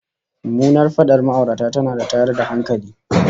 Mummunar fadar ma'aurata tana da tayar da hankali